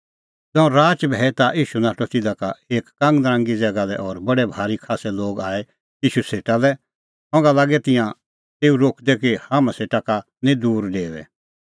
ज़ांऊं राच भैई ता ईशू नाठअ तिधा का एक कांगनरांगी ज़ैगा लै और बडै भारी खास्सै लोग आऐ ईशू सेटा लै संघा लागै तिंयां तेऊ रोकदै कि हाम्हां सेटा का निं दूर डेओऐ